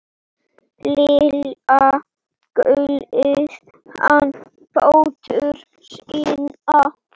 Litla gullið hana dóttur sína.